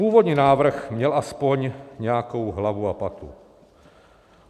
Původní návrh měl aspoň nějakou hlavu a patu.